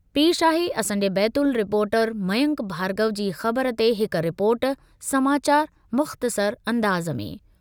पेशि आहे असांजे बैतूल रिपोर्टर मयंक भार्गव जी ख़बर ते हिक रिपोर्ट समाचार मुख़्तसर अंदाज़ में: